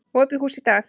Opið hús í dag.